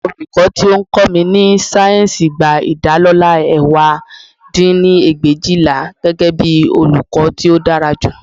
Olùkọ́ tí ó ń kọ́ mi ní sáyẹ́ǹsì gba ìdálọlá ẹ̀wá dín ní ẹgbẹ̀éjìlá, gẹ́gẹ́bí olùkọ́ tí ó dára jù